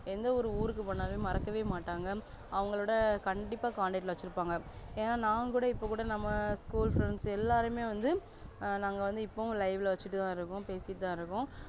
எந்த ஒரு ஊருக்கு போனாலுமே மறக்கவே மாட்டாங்க அவங்களோட கண்டிப்பா contact ல வச்சிருப்பாங்க ஏனா நான்குட இப்ப கூட நம்ம school friends எல்லாருமே வந்து ஆஹ் நாங்க வந்து இப்பவும் live ல வச்சிட்டுதா இருக்கோம்